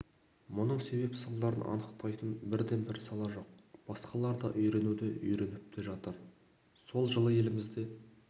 мұның себеп-салдарын анықтайтын бірден бір сала жоқ басқалар да үйренуде үйреніп те жатыр сол жылы елімізде